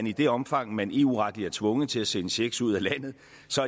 i det omfang man eu retligt er tvunget til at sende checks ud af landet